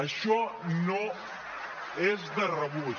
això no és de rebut